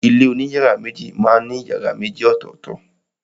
Ilé oní yàrá méjì má n ní yàrá méjì ọ̀tọ̀tọ̀.